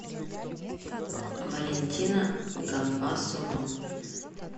валентина гамбасова